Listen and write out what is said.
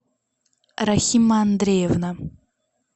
рахима андреевна